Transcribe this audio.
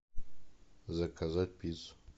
заказать пиццу